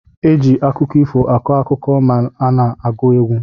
Eji akụkọ ifo akọ akụkọ ma ana agu egwu.